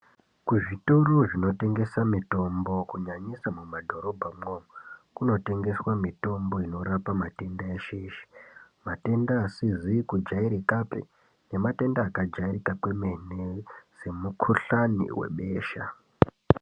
Ku zvitoro zvino tengese mitombo ku nyanyisa mu madhorobha mwo kuno tengeswa mitombo inorapa matenda eshe eshe matenda asizi ku jairikapi ne matenda aka jairika kwemene se mu kuhlani we besha.